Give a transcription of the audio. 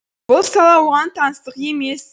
бұл сала оған таңсық емес